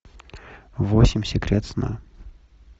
восемь секрет сна